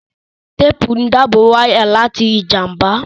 Téèpù ń dábò wáyà láti ìjàmbá